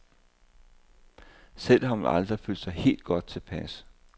Selv har hun aldrig følt sig helt godt tilpas.